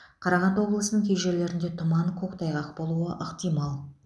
қарағанды облысының кей жерлеріңде тұман көктайғақ болуы ықтимал